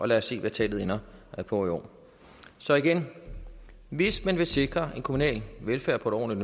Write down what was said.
lad os se hvad tallet ender på i år så igen hvis man vil sikre en kommunal velfærd på et